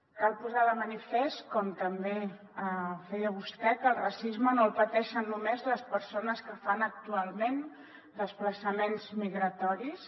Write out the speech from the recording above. cal posar de manifest com també feia vostè que el racisme no el pateixen només les persones que fan actualment desplaçaments migratoris